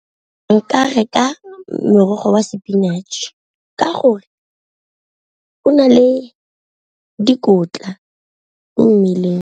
Nka reka merogo wa sepinatšhe ka gore o na le dikotla mo mmeleng.